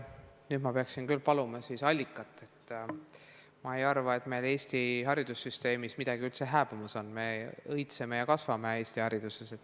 Nüüd ma peaksin küll paluma siis allikat, et ma ei arva, et meil Eesti haridussüsteemis midagi üldse hääbumas on, me õitseme ja kasvame Eesti hariduses.